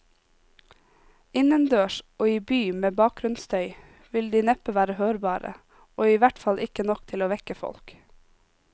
Innendørs og i by med bakgrunnsstøy vil de neppe være hørbare, og i hvert fall ikke nok til å vekke folk.